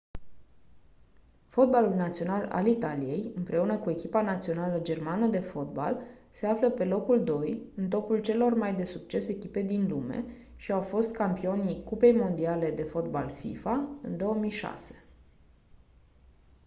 fotbalul național al italiei împreună cu echipa națională germană de fotbal se află pe locul doi în topul celor mai de succes echipe din lume și au fost campionii cupei mondiale de fotbal fifa în 2006